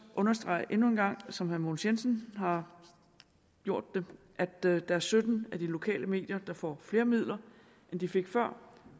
understrege endnu en gang som herre mogens jensen har gjort det at der er sytten af de lokale medier der får flere midler end de fik før